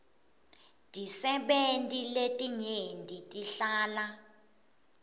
tisebenti letinyenti tihlala